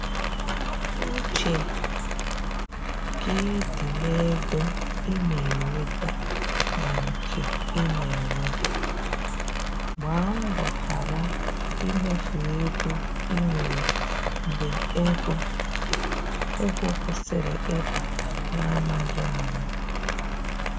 Uche gị di n’ego ị na enweta na nke i na ewepụ, gba mbọ ghara imefu ego i nwere mgbe ego ego kwụsịrị ịbata n’amaghị ama.